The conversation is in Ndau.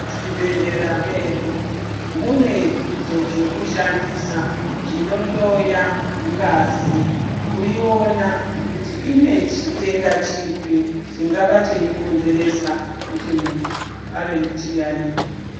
...zvibhedhlera medu mune zvokushandisa zvinohloya ngazi kuiona kuti ine chitenda chipi chingava cheikonzeresa kuti muntu ave nechiyaiyo.